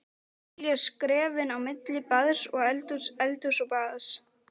Telja skrefin á milli baðs og eldhúss, eldhúss og baðs.